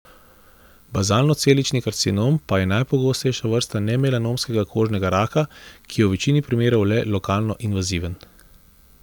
Bazalnocelični karcinom pa je najpogostejša vrsta nemelanomskega kožnega raka, ki je v večini primerov le lokalno invaziven.